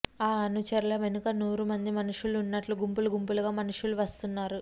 ఆ అనుచరుల వెనుక నూరుమంది మనుష్యులు ఉన్నట్లు గుంపులు గుంపులుగా మనుష్యులు వస్తున్నారు